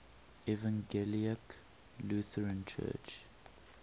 evangelical lutheran church